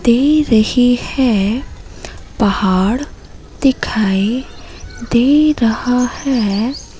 दे रही है पहाड़ दिखाई दे रहा है।